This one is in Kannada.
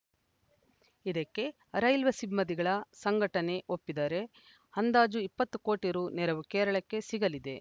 ಇದಕ್ಕೆ ರೈಲ್ವೆ ಸಿಂದಿಗಳ ಸಂಘಟನೆ ಒಪ್ಪಿದರೆ ಅಂದಾಜು ಇಪ್ಪತ್ತು ಕೋಟಿ ರು ನೆರವು ಕೇರಳಕ್ಕೆ ಸಿಗಲಿದೆ